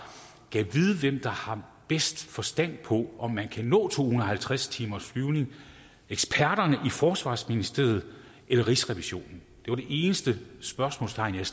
gad vide hvem der har bedst forstand på om man kan nå to hundrede og halvtreds timers flyvning eksperterne i forsvarsministeriet eller rigsrevisionen det var det eneste spørgsmålstegn jeg